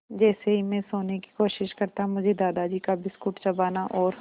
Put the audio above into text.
जैसे ही मैं सोने की कोशिश करता मुझे दादाजी का बिस्कुट चबाना और